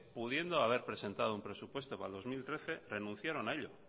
pudiendo haber presentado un presupuesto para el dos mil trece renunciaron a ello